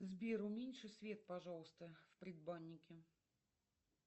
сбер уменьши свет пожалуйста в предбаннике